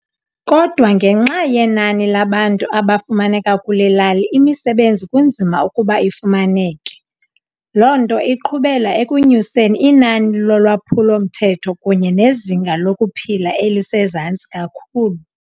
Kodwa ngenxa yenani labantu abafumaneka kule lali imisebenzi kunzima ukuba ifumaneke , lonto iqhubela ekunyuseni inani lolwaphulo mthetho kunye nezinga lokuphila elisezantsi kakhulu